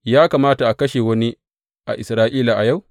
Ya kamata a kashe wani a Isra’ila a yau?